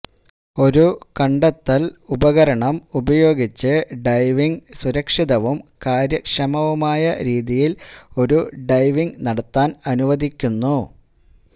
ഒരു കണ്ടെത്തൽ ഉപകരണം ഉപയോഗിച്ച് ഡൈവിംഗ് സുരക്ഷിതവും കാര്യക്ഷമവുമായ രീതിയിൽ ഒരു ഡൈവിംഗ് നടത്താൻ അനുവദിക്കുന്നു